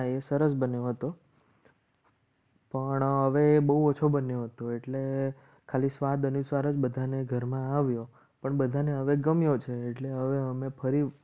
સરસ બંને વાતો પણ હવે બહુ ઓછો બન્યો હતો. એટલે ખાલી સ્વાદ અનુસાર જ બધાને ઘરમાં આવ્યો પણ બધાને હવે ગમ્યો છે. એટલે હવે અમે ફરી